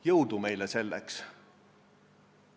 Jõudu meile selleks!